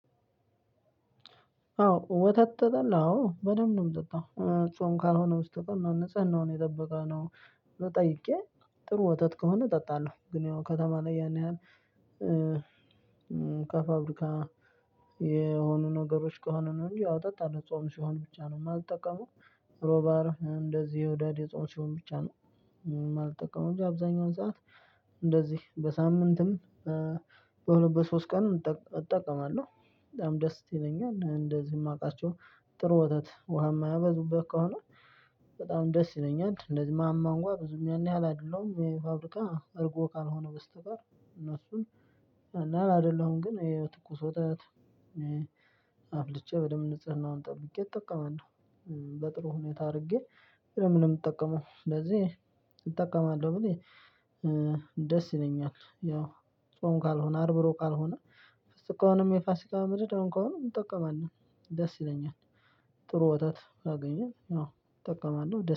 አዎ ወተት ተጠላ አዎ በደንብ ነው የምትጠጣው። ጾም ካልሆነ በስተቀር ንጽህናውን የጠበቀው ነው ወይ ጠይቄ ጥሩ ወተት ከሆነ እጠጣለሁ። ግን ያው ከተማ ላይ ያልን ከፋብሪካ የሆኑ ነገሮች ከሆነ ነው እንጂ አዎ እጠጣለሁ ጾም ሲሆን ብቻ ነው የማልጠቀመው። ብሎ ባር እንደዚህ የውዳድ የጾም ስርውን ብቻ ነው የማልጠቀመው እንጂ አብዛኛውን ሰዓት እንደዚህ በሳምንትም በሁለት በሶስት ቀን እጠቀማለሁ። በጣም ደስ ይለኛል። እንደዚህ የማውቃቸው ጥሩ ወተት ውሃ የማያበዙበት ከሆነ በጣም ደስ ይለኛል። እንደዚህ ማማ እንኳን ብዙም ያን ያህል አይደለሁም የፋብሪካ እርጎ ካልሆነ በስተቀር እነሱን እና አይደለሁም ግን የትኩስ ወተት አፍልቼ በደንብ ንጽህናውን ጠብቄ እጠቀማለሁ። በጥሩ ሁኔታ አድርጌ ምንጠቀመው ስለዚህ እጠቀማለው ብልህ ደስ ይለኛል። ያው ጾም ካልሆነ አርብ ሩዕብ ካልሆነ ከሆነም የፋሲካ ምድር ከሆነ እጠቀማለሁ ደስ ይለኛል ጥሩ ወትት አገኘን አዎ እጠቀማለሁ።